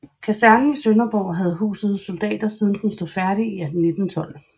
Kasernen i Sønderborg havde huset soldater siden den stod færdig i 1912